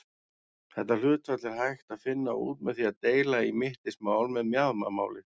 Þetta hlutfall er hægt að finna út með því að deila í mittismál með mjaðmamáli.